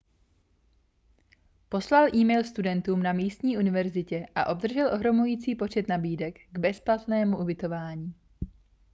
poslal e-mail studentům na místní univerzitě a obdržel ohromující počet nabídek k bezplatnému ubytování